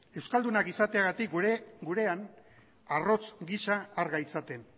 euskaldunak izateagatik gurean arrotz gisa har gaitzaten